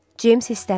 Ceyms hissləndi.